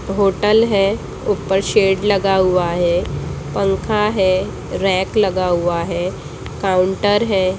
Hotel है ऊपर shed लगा हुआ है पंखा है रैक लगा हुआ है काउंटर है।